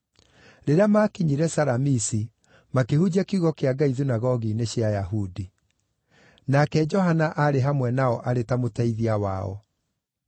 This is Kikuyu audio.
Rĩrĩa maakinyire Salamisi, makĩhunjia kiugo kĩa Ngai thunagogi-inĩ cia Ayahudi. Nake Johana aarĩ hamwe nao arĩ ta mũteithia wao.